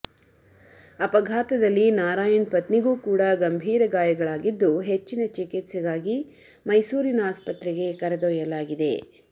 ಅಪಘಾತದಲ್ಲಿ ನಾರಾಯಣ್ ಪತ್ನಿಗೂ ಕೂಡ ಗಂಭೀರ ಗಾಯಗಳಾಗಿದ್ದು ಹೆಚ್ಚಿನ ಚಿಕಿತ್ಸೆಗಾಗಿ ಮೈಸೂರಿನ ಆಸ್ಪತ್ರೆಗೆ ಕರೆದೊಯ್ಯಲಾಗಿದೆ